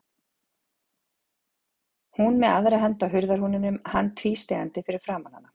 Hún með aðra hönd á hurðarhúninum, hann tvístígandi fyrir framan hana.